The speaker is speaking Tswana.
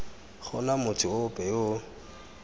gona motho ope yo o